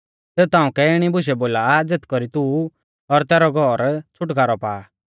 सेऊ ताउंकै इणी बुशै बोला आ ज़ेथ कौरी तू और तैरौ सारौ घौर छ़ुटकारौ पा आ